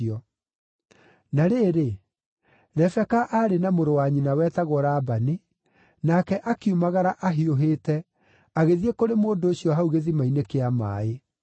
Na rĩrĩ, Rebeka aarĩ na mũrũ wa nyina wetagwo Labani, nake akiumagara ahiũhĩte, agĩthiĩ kũrĩ mũndũ ũcio hau gĩthima-inĩ kĩa maaĩ.